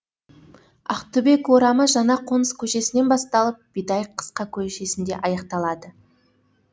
ақтүбек орамы жаңақоныс көшесінен басталып бидайық қысқа көшесінде аяқталады